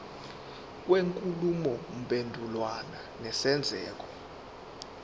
kwenkulumo mpendulwano nesenzeko